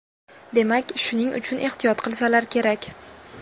Demak, shuning uchun ehtiyot qilsalar kerak!